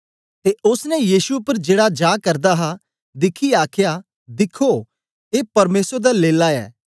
ते ओसने यीशु उपर जेड़ा जा करदा हा दिखियै आख्या दिख्खो ए परमेसर दा लेल्ला ऐ